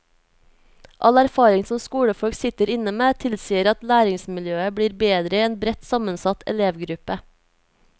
All erfaring som skolefolk sitter inne med, tilsier at læringsmiljøet blir bedre i en bredt sammensatt elevgruppe.